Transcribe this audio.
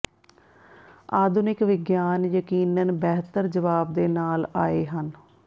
ਆਧੁਨਿਕ ਵਿਗਿਆਨ ਯਕੀਨਨ ਬਿਹਤਰ ਜਵਾਬ ਦੇ ਨਾਲ ਆਏ ਹਨ